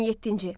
17-ci.